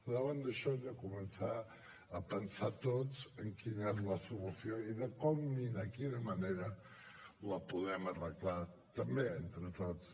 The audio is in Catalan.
davant d’això hem de començar a pensar tots en quina és la solució i de com i de quina manera la podem arreglar també entre tots